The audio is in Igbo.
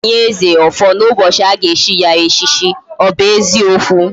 Aga enye eze, ofo na ubochi aga echi ya echichi. o bu eziokwu?